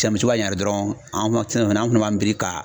misi b'a ɲari dɔrɔn an fana b'an biri.